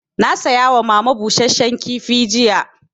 Na saya wa mama busasshen kifi jiya